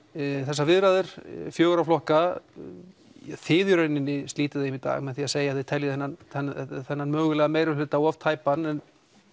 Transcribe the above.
þessar viðræður fjögurra flokka þið í rauninni þeim í dag með því að segja að þið teljið þennan þennan möguleika meirihluta of tæpan en